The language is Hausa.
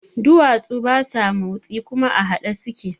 Duwatsu basa motsi kuma a haɗe suke